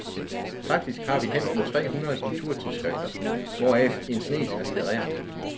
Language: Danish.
Faktisk har vi hen mod tre hundrede kulturtidsskrifter, hvoraf en snes er litterære.